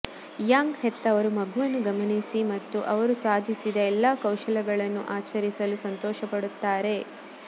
Young ಹೆತ್ತವರು ಮಗುವನ್ನು ಗಮನಿಸಿ ಮತ್ತು ಅವರು ಸಾಧಿಸಿದ ಎಲ್ಲಾ ಕೌಶಲಗಳನ್ನು ಆಚರಿಸಲು ಸಂತೋಷಪಡುತ್ತಾರೆ